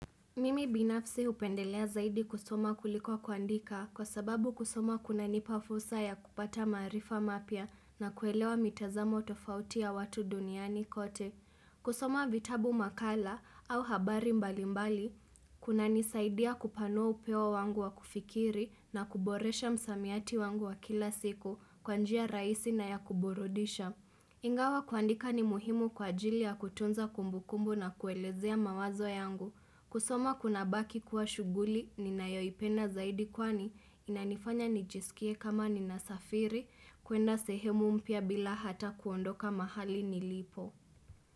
Mimi binafsi hupendelea zaidi kusoma kuliko kuandika kwa sababu kusoma kunanipa fursa ya kupata maarifa mapya na kuelewa mitazamo tofauti ya watu duniani kote. Kusoma vitabu makala au habari mbali mbali, kunanisaidia kupanua upeo wangu wa kufikiri na kuboresha msamiati wangu wa kila siku kwa njia rahisi na ya kuburudisha. Ingawa kuandika ni muhimu kwa ajili ya kutunza kumbukumbu na kuelezea mawazo yangu. Kusoma kunabaki kuwa shughuli ninayoipenda zaidi kwani inanifanya nijiskie kama ninasafiri kuenda sehemu mpya bila hata kuondoka mahali nilipo.